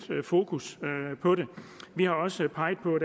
fokus på det vi har også peget på